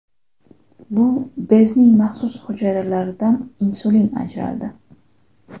Bu bezning maxsus hujayralaridan insulin ajratildi.